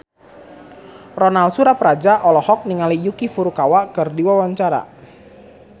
Ronal Surapradja olohok ningali Yuki Furukawa keur diwawancara